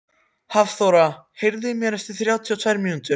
Hafþóra, heyrðu í mér eftir þrjátíu og tvær mínútur.